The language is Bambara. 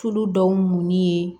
Tulu dɔw muɲi ye